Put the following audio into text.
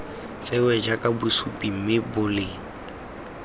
tsewe jaaka bosupi mme boleng